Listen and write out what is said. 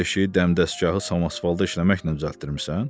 O ev eşiyi dəmdəstgahı sən asfalta işləməklə düzəltdirmisən?